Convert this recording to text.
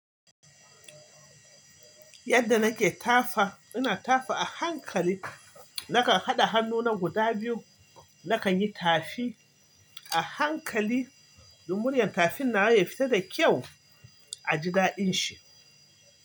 Yadda nake tafa, ina tafa a hankali. Nakan haɗa hannuna guda biyu, nakan yi tafi a hankali don muryar tafin nawa ya fita da kyau a jidaɗin shi.